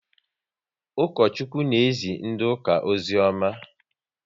Ukochukwu na ezi ndị ụka ozioma